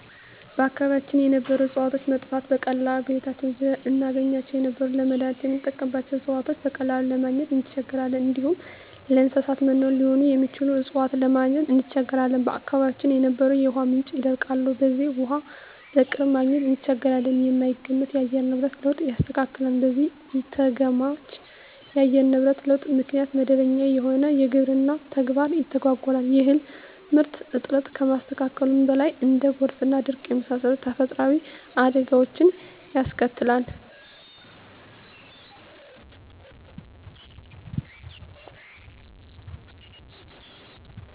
በአካባቢያችን የነበሩ እጽዋቶች መጥፋት፤ በቀላሉ በቤታችን ዙሪያ እናገኛቸው የነበሩ ለመዳኒትነት ምንጠቀምባቸው እጽዋቶችን በቀላሉ ለማግኝ እንቸገራለን፣ እንዲሁም ለእንሰሳት መኖ ሊሆኑ የሚችሉ እጽዋትን ለማግኘት እንቸገራለን፣ በአካባቢያችን የነበሩ የውሃ ምንጮች ይደርቃሉ በዚህም ውሃ በቅርብ ማግኘት እንቸገራለን፣ የማይገመት የአየር ንብረት ለውጥ ያስከትላል በዚህም ኢተገማች የአየር ንብረት ለውጥ ምክንያት መደበኛ የሆነው የግብርና ተግባር ይተጓጎላል የእህል ምርት እጥረት ከማስከተሉም በላይ እንደ ጎርፍና ድርቅ የመሳሰሉ ተፈጥሮአዊ አደጋወችንም ያስከትላል።